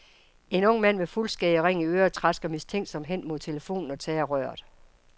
En ung mand med fuldskæg og ring i øret trasker mistænksomt hen mod telefonen og tager røret.